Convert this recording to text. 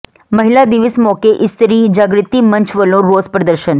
ਮਹਿਲਾ ਦਿਵਸ ਮੌਕੇ ਇਸਤਰੀ ਜਾਗਿ੍ਤੀ ਮੰਚ ਵੱਲੋਂ ਰੋਸ ਪ੍ਰਦਰਸ਼ਨ